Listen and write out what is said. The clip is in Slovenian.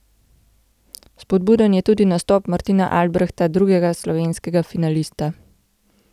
Spodbuden je tudi nastop Martina Albrehta, drugega slovenskega finalista.